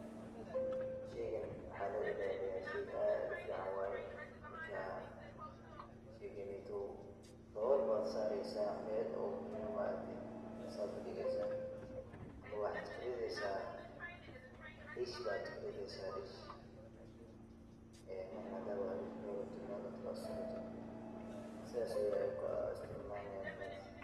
Sheeygan waxa lo ilaliyah sheey aad u fican, marka sheeganeyto dawool Aya sareysah waliba baacdin sethasi udegeysah amah waxa kuretheysah deesh mar handabo sethasi Aya Niku asturnani .